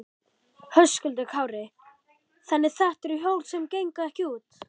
Höskuldur Kári: Þannig þetta eru hjól sem gengu ekki út?